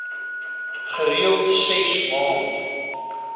gereeld ses maand